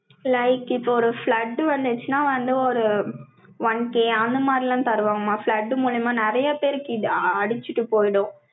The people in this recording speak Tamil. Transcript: like, இப்ப ஒரு flood வந்துச்சுன்னா வந்து, ஒரு, one one K அந்த மாதிரி எல்லாம் தருவாங்கம்மா. flood மூலமா நிறைய பேருக்கு இது அடிச்சிட்டு போயிடும்.